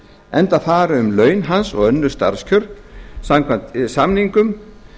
enda fari um laun hans og önnur starfskjör samkvæmt samningum